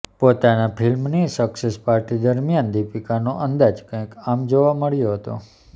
પોતાની ફિલ્મની success party દરમ્યાન દિપીકાનો અંદાજ કઇંક આમ જોવા મળ્યો હતો